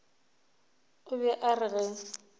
o be a re ge